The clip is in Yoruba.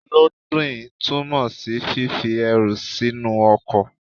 Lódìn túmọ̀ sí fífi ẹrù sínú ọkọ̀.